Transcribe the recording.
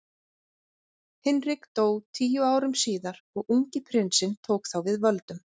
Hinrik dó tíu árum síðar og ungi prinsinn tók þá við völdum.